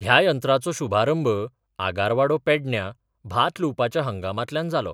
ह्या यंत्राचो शुभारंभ आगारवाडो पेडण्यां भात लुवपाच्या हंगामांतल्यान जालो.